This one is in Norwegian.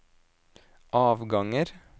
avganger